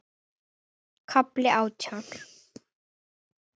KAFLI ÁTJÁN